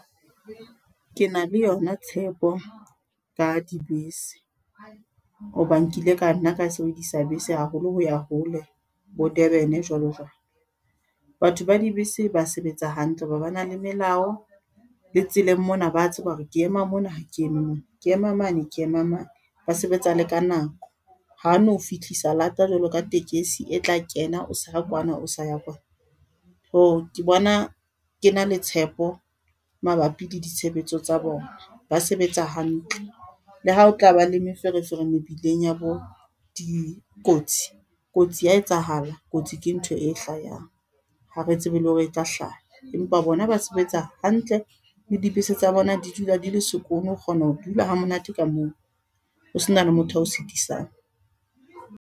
Ke na le yona tshepo, ka dibese. Ho ba nkile ka nna ka sebedisa bese haholo hoya hole, bo Durban jwalo jwalo. Batho ba dibese ba sebetsa hantle, hoba ba na le melao. Le tseleng mona ba tseba hore ke ema mona, ha ke eme mona, ke ema mane, ke ema mane. Ba sebetsa le ka nako. Ha no fihlisa lata jwalo ka tekesi e tla kena o se ra kwana, o sa ya Kwana. So ke bona ke na le tshepo, mabapi le ditshebetso tsa bona. Ba sebetsa hantle. Le ha o tlaba le meferefere mebileng ya bo dikotsi. Kotsi ya etsahala, kotsi ke ntho e hlahang. Ha re tsebe le hore e tla hlaha. Empa bona ba sebetsa hantle, le dibese tsa bona di dula di le sekono. O kgona ho dula ha monate ka moo, ho se na le motho ao sitisang.